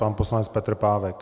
Pan poslanec Petr Pávek.